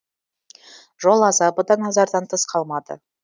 жол азабы да назардан тыс қалмады